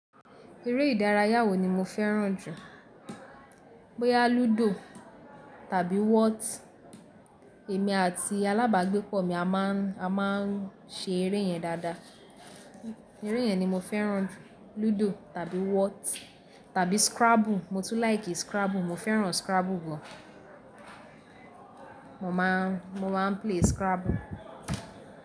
Eré ìdárayá wo ni mo fẹ́ràn jù. Bóyá ludo tàbí wot, èmi àti alábàgbépọ̀ mi a ma ń, a ma ń ṣe eré yẹn dáadáa. Eré yẹn ni mo fẹ́ràn jù, ludo tàbí wot tàbí scrabble. Mo tún láì kí scrabble, mo fẹ́ràn scrabble gbọ. Mo ma ń, mo ma ń play scrabble.